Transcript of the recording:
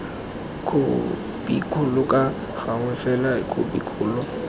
khopikgolo ka gangwe fela khopikgolo